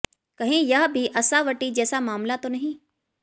कहीं यह भी असावटी जैसा मामला तो नहीं